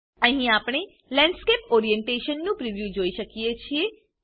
અહી આપણે landscape orientation નું પ્રિવ્યુ જોઈ શકીએ છે